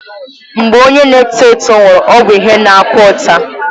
Mgbe onye na-eto eto nwụrụ, ọ bụ ihe na-akwa ụta